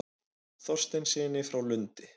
Þorsteinssyni frá Lundi.